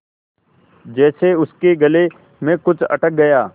जैसे उसके गले में कुछ अटक गया